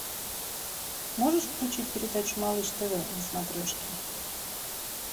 можешь включить передачу малыш тв на смотрешке